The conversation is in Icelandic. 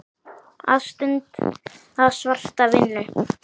Að stunda svarta vinnu.